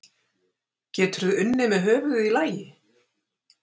Getur þú unnið með höfuðið í lagi?